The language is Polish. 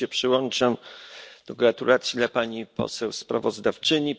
Też się przyłączam do gratulacji dla pani poseł sprawozdawczyni.